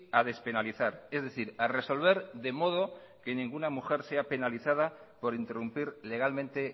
a despenalizar es decir a resolver de modo que ninguna mujer sea penaliza por interrumpir legalmente